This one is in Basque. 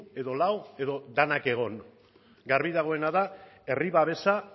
edo lau edo denak egon garbi dagoena da herri babesa